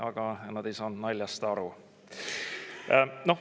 Aga nad ei saanud naljast aru.